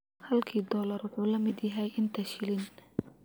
Halkii dollar wuxuu la mid yahay inta shilin